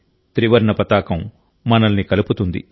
త్రివర్ణ పతాకం మనల్ని కలుపుతుంది